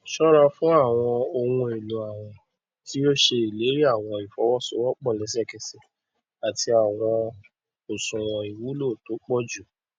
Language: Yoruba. ṣọra fún àwọn ohun èlò àwìn tí ó ṣe ìlérí àwọn ìfọwọsowọpọ lẹsẹkẹsẹ àti àwọn oṣùwòn ìwúlò tó pọ jù